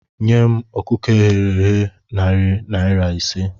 Nye m ọkụkọ eghere eghe narị naira ise